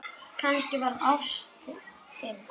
Kannski var það ástin.